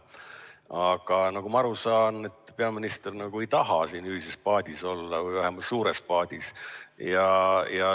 Aga nagu ma aru saan, siis peaminister ei taha olla ühises paadis või vähemalt mitte suures paadis.